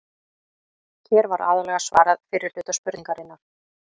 Hér var aðallega svarað fyrri hluta spurningarinnar.